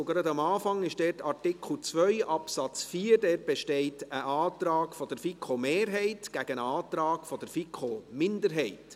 Gleich am Anfang, bei Artikel 2 Absatz 4, besteht ein Antrag der FiKo-Mehrheit gegen einen Antrag der FiKo-Minderheit.